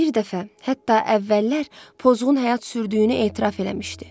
Bir dəfə, hətta əvvəllər pozğun həyat sürdüyünü etiraf eləmişdi.